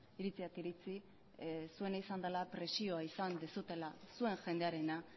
iritziak iritzi zuena izan dela presioa izan duzuela zuen jendearena